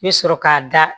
I bɛ sɔrɔ k'a da